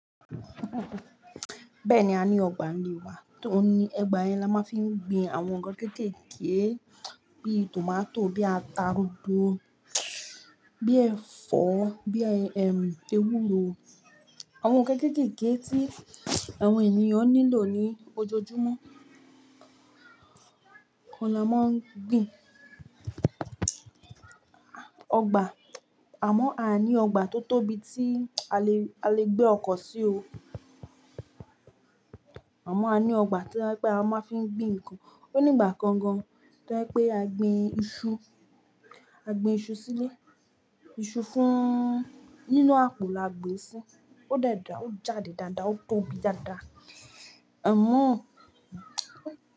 Bẹ́ẹ̀ni, a ní ọgbà nílé wa tó ní ogba yen la máa fi ń gbin àwọn nǹkan kéékèèké bí i tòmátò, bí i ata rodo, bí i ẹ̀fọ́, bí i, ẹm, ewúro. Àwọn nǹkan kéékèèké tí àwọn ènìyàn nílò ní ojoojúmọ́ kó ni a máa ń gbin. Ọgbà, àmọ́ a ní ọgbà tó tóbi tí a le, a le gbé ọkọ̀ sí o. Àmọ́ a ní ọgbà tí ẹ pé a máa fi ń gbin nǹkan. Ó ní ìgbà kan gan to jẹ pé a gbin iṣu, a gbin iṣu sílé, iṣu fún, nínú àpò la gbin sí. Ó de dá, ó jáde dáadáa, ó tóbi dáadáa. Amọ́